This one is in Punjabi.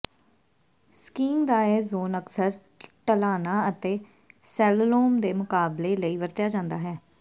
ਸਕੀਇੰਗ ਦਾ ਇਹ ਜ਼ੋਨ ਅਕਸਰ ਢਲਾਣਾਂ ਅਤੇ ਸਲੈੱਲੋਮ ਦੇ ਮੁਕਾਬਲੇ ਲਈ ਵਰਤਿਆ ਜਾਂਦਾ ਹੈ